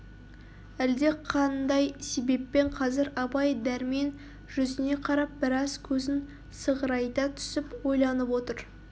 әлдеқандай себеппен қазір абай дәрмен жүзіне қарап біраз көзін сығырайта түсіп ойланып отыр